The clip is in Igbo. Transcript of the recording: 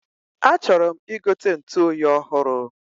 A chọrọm igote ntuoyi ọhụrụ